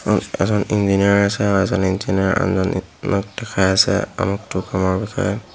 এজন ইঞ্জিনিয়াৰ আছে আৰু এজন ইঞ্জিনিয়াৰ আনজন ইঞ্জিনিয়াক দেখাই আছে আমুকটো কামৰ বিষয়ে।